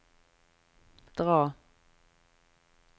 dra